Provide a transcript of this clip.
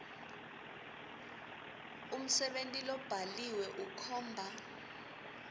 umsebenti lobhaliwe ukhomba